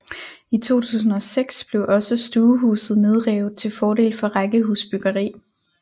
I 2006 blev også stuehuset nedrevet til fordel for rækkehusbyggeri